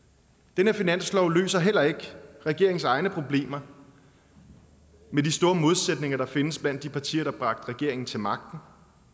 den her finanslov løser heller ikke regeringens egne problemer med de store modsætninger der findes blandt de partier der bragte regeringen til magten